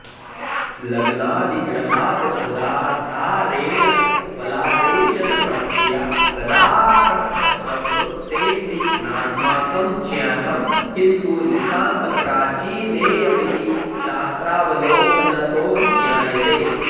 लग्नादिग्रहादसदाधारेण फलादेशनप्रक्रिया कदाऽऽरभ्य प्रवृत्तेति नास्माकं ज्ञातं किन्तु नितान्तप्राचीनेयमिति शास्त्रावलोकनतो ज्ञायते